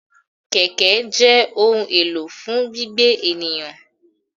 Kẹ̀kẹ́ jẹ́ ohun èlò fún gbígbé ènìyàn.